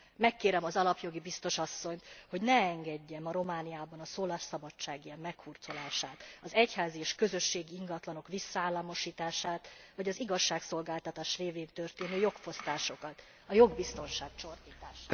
Megkérem az alapjogi biztos asszonyt, hogy ne engedje ma Romániában a szólásszabadság ilyen meghurcolását, az egyházi és közösségi ingatlanok visszaállamosítását, vagy az igazságszolgáltatás révén történő jogfosztásokat, a jogbiztonság csorbítását.